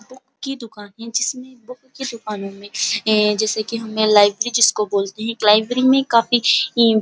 book की दुकान है जिसमें बुक की दुकानों में जैसे की हम लाइब्रेरी जिसको बोलते हैं लाइब्रेरी में काफी --